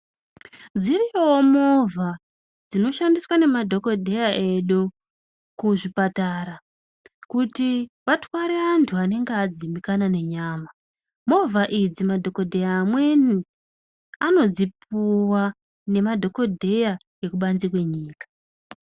Dziriyo movha dzinoshandiswa nemadhokodheya edu kuzvipatara kuti vatware vandhu vanenge vadzimbikana nenyama movha idzi madhokodheya amweni anodzipuwa nemadhokodheya ekubanze kwenyika